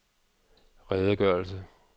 redegørelse